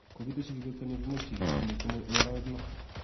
kokiteshi kibet kanyorunaik chiik konyil somok eng' arawek loo